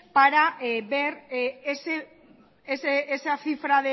para ver esa cifra